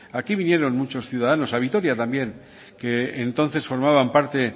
aquí vinieron muchos ciudadanos a vitoria también que entonces formaban parte